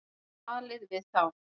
Talið við þá.